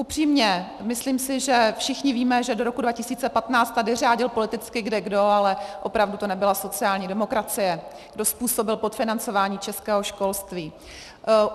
Upřímně si myslím, že všichni víme, že do roku 2015 tady řádil politicky kdekdo, ale opravdu to nebyla sociální demokracie, kdo způsobil podfinancování českého školství.